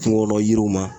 Kungolo yiriw ma